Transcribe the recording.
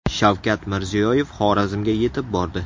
Shavkat Mirziyoyev Xorazmga yetib bordi.